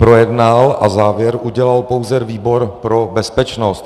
Projednal a závěr udělal pouze výbor pro bezpečnost.